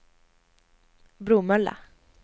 Bromölla